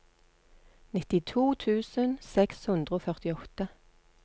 nittito tusen seks hundre og førtiåtte